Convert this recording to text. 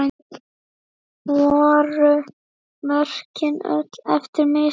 Voru mörkin öll eftir mistök?